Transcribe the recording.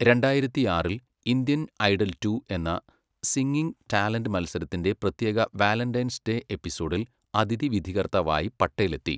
രണ്ടായിരത്തിയാറിൽ, 'Indian idol two' എന്ന singing talent മത്സരത്തിൻ്റെ പ്രത്യേക വാലെൻ്റെയ്ൻസ് ഡേ എപ്പിസോഡിൽ അതിഥി വിധികർത്താവായി പട്ടേൽ എത്തി.